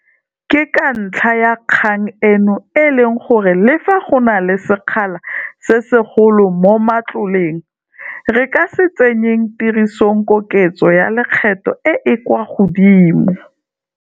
Ke ka ntlha ya kgang eno e leng gore, le fa go na le sekgala se segolo mo matloleng, re ka se tsenyeng tirisong koketso ya lekgetho e e kwa godimo.